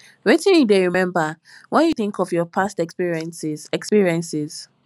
wetin you dey remember when you think of your past experiences experiences